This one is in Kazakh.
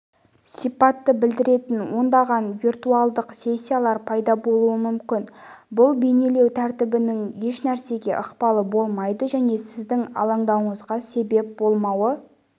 сипатты білдіретін ондаған виртуалдық сессиялар пайда болуы мүмкін бұл бейнелеу тәртібінің ешнәрсеге ықпалы болмайды және сіздің алаңдауыңызға себеп болмауы